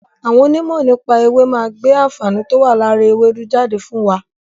Àwọn òní ìmọ̀ nípa èwe máa gbé àǹfààní towa lára ewédú jáde fún wa